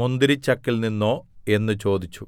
മുന്തിരിച്ചക്കിൽനിന്നോ എന്ന് ചോദിച്ചു